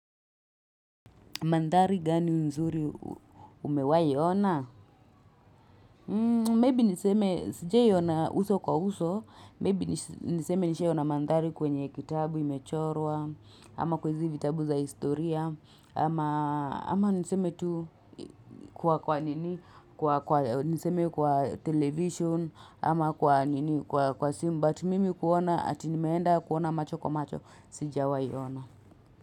Madhari gani nzuri umewai ona? Maybe niseme sijawai ona uso kwa uso. Maybe niseme nishawai ona madhari kwenye kitabu imechorwa. Ama kwahizi vitabu za historia. Ama niseme tu kwa kwa nini? Kwa Niseme kwa television. Ama kwa simu But mimi kuona atinimeenda kuona macho kwa macho. Sijawai ona.